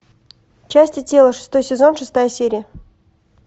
части тела шестой сезон шестая серия